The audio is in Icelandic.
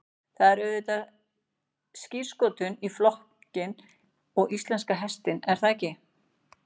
Það er auðvitað skírskotun í flokkinn og íslenska hestinn er það ekki?